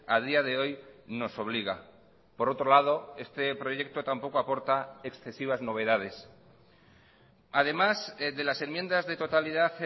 a día de hoy nos obliga por otro lado este proyecto tampoco aporta excesivas novedades además de las enmiendas de totalidad